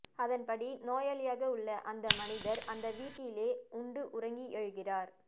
அதன்படி நோயாளியாக உள்ள அந்த மனிதர் அந்த வீட்டிலே உண்டு உறங்கி எழுகிறார்